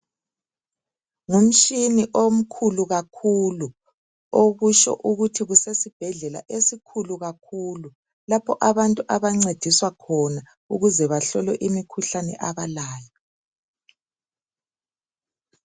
Ngumshini omkhulu kakhulu. Okusho ukuthi kusesibhedlela esikhulu kakhulu, lapho abantu abancediswa khona ukuze bahlolwe imikhuhlane abalayo.